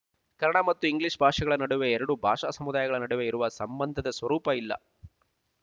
ಕನ್ನಡ ಮತ್ತು ಇಂಗ್ಲೀಷ್ ಭಾಷೆಗಳ ನಡುವೆ ಎರಡು ಭಾಷಾ ಸಮುದಾಯಗಳ ನಡುವೆ ಇರುವ ಸಂಬಂಧದ ಸ್ವರೂಪ ಇಲ್ಲ